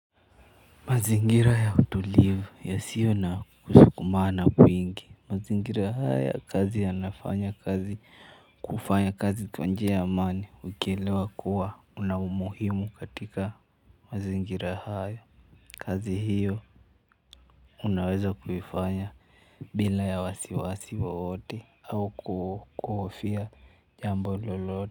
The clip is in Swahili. Mazingira ya utulivu yasiyo na kusukumana kwingi. Mazingira haya ya kazi yanafanya kazi kufanya kazi kwa njia ya amani ukielewa kuwa una umuhimu katika mazingira haya. Kazi hiyo unaweza kuifanya bila ya wasiwasi wowote au kuhofia jambo lolote.